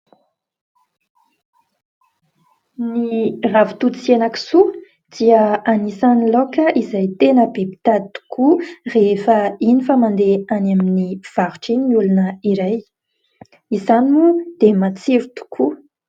Ny ravintoto sy henan-kisoa dia anisan'ny laoka izay tena be mpitady tokoa rehefa iny fa mandeha any amin'ny mpivarotra iny ny olona iray. Izany moa dia matsiro tokoa.